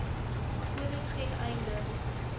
kodes ten einde